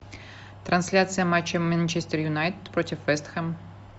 трансляция матча манчестер юнайтед против вест хэм